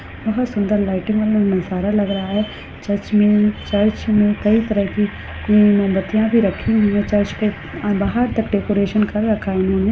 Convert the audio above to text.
बहुत सुंदर लाइटिंग वाला नज़ारा लग रहा है चर्च में कई तरीके की मोमबत्तिया भी रखी हुई है चर्च को बाहर तक डेकोरशन कर रखा है इन्होने--